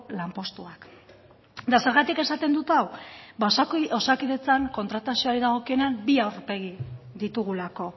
lanpostuak eta zergatik esaten dut hau ba osakidetzan kontratazioari dagokionean bi aurpegi ditugulako